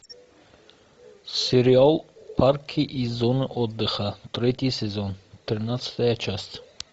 сериал парки и зоны отдыха третий сезон тринадцатая часть